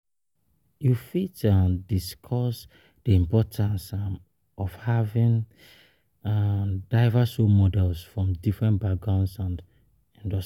You fit um discuss di importance um of having um diverse role models from different backgrounds and.